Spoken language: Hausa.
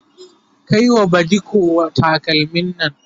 Kai wa badiko takalmin Nan!